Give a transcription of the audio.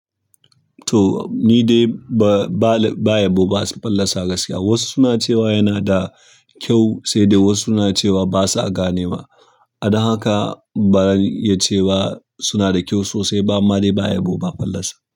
To ni dai ba, ba yabo ba fallasa gaskiya. Wasu suna cewa yana da ƙyau sai dai wasu suna cewa basa ganewa. A da haka birin iya cewa suna da kyau sosai ba amma dai ba ayabo ba fallasa.